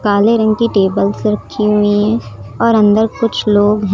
काले रंग की टेबल्स रखी हुई हैं और अंदर कुछ लोग हैं।